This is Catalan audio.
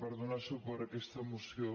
per donar suport a aquesta moció